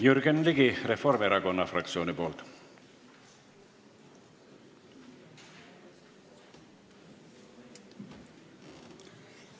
Jürgen Ligi Reformierakonna fraktsiooni nimel!